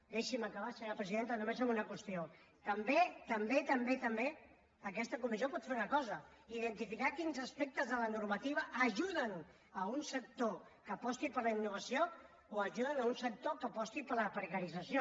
deixi’m acabar senyora presidenta només amb una qüestió també també també aquesta comissió pot fer una cosa identificar quins aspectes de la normativa ajuden un sector que aposti per la innovació o ajudin un sector que aposti per la precarització